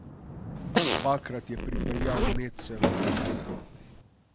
Dvakrat je pripeljal Netse v finale.